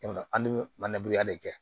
An bɛ mananburi yan de kɛ